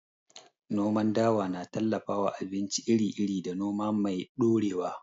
Noman dawa na tallafawa abinci iri-iri da noma mai ɗorewa.